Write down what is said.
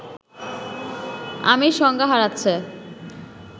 আমির সংজ্ঞা হারাচ্ছে